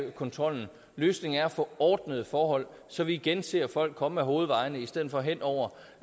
kontrollen løsningen er at få ordnede forhold så vi igen ser folk komme ad hovedvejene i stedet for hen over